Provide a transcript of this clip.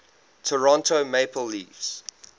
toronto maple leafs